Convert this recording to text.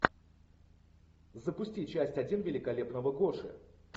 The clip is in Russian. запусти часть один великолепного гоши